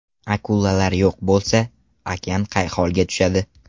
Akulalar yo‘q bo‘lsa, okean qay holga tushadi?.